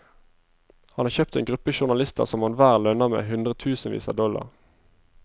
Han har kjøpt en gruppe journalister som han hver lønner med hundretusenvis av dollar.